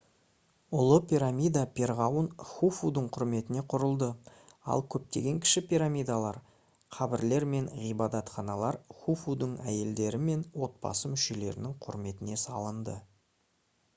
ұлы пирамида перғауын хуфудың құрметіне құрылды ал көптеген кіші пирамидалар қабірлер мен ғибадатханалар хуфудың әйелдері мен отбасы мүшелерінің құрметіне салынды